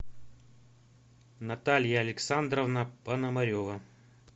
наталья александровна пономарева